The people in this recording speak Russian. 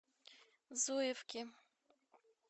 зуевки